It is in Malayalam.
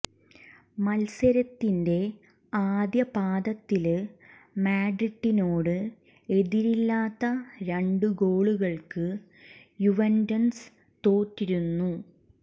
മത്സരത്തിന്റെ ആദ്യ പാദത്തില് മാഡ്രിഡിനോട് എതിരില്ലാത്ത രണ്ട് ഗോളുകള്ക്ക് യുവന്റസ് തോറ്റിരുന്നു